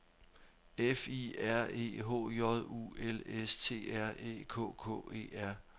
F I R E H J U L S T R Æ K K E R